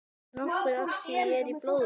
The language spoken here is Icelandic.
Nokkuð af því er í blóðinu.